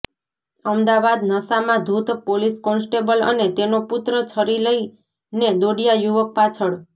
અમદાવાદઃ નાશામાં ધૂત police constable અને તેનો પુત્ર છરી લઈને દોડ્યા યુવક પાછળ